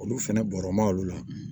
Olu fɛnɛ bɔrɔ ma olu la